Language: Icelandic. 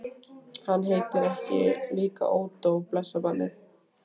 Ekki heitir hann líka Ódó, blessað barnið.